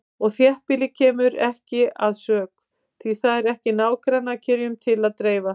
Og þéttbýlið kemur ekki að sök, því það er ekki nágrannakrytinum til að dreifa.